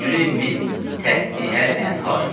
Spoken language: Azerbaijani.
Tücri min təhtiəlhənər.